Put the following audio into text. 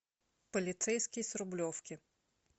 полицейский с рублевки